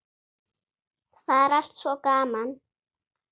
Það er allt svo gaman.